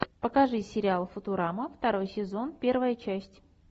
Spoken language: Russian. покажи сериал футурама второй сезон первая часть